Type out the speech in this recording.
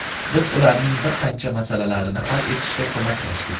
Biz ularning bir qancha masalalarini hal etishda ko‘maklashdik.